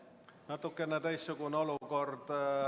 Natukene teistsugune olukord.